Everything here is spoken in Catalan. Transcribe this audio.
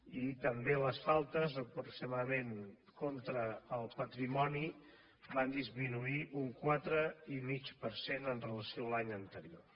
i també les faltes aproximadament contra el patrimoni van disminuir un quatre i mig per cent amb relació a l’any anterior